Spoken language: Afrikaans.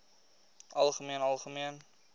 algemeen algemeen